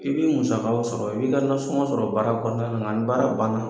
I b'i musakaw sɔrɔ i b'i ka nansɔngɔw sɔrɔ baara kɔnɔna na, ni baara ban na.